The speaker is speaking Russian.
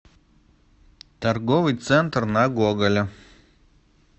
торговый центр на гоголя